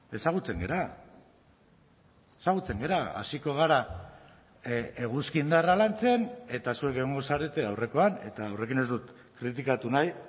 ezagutzen gara ezagutzen gara hasiko gara eguzki indarra lantzen eta zuek egongo zarete aurrekoan eta horrekin ez dut kritikatu nahi